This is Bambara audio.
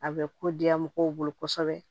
A bɛ ko diya mɔgɔw bolo kosɛbɛ